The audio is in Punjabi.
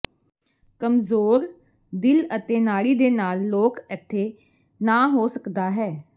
ਕਮਜ਼ੋਰ ਦਿਲ ਅਤੇ ਨਾੜੀ ਦੇ ਨਾਲ ਲੋਕ ਇੱਥੇ ਨਾ ਹੋ ਸਕਦਾ ਹੈ